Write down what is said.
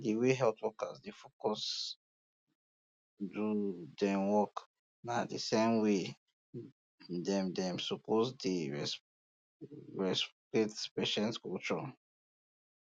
di way health workers dey focus do dem work na the same way dem dem suppose dey respoect patients culture